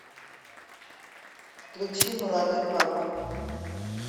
включи молодой папа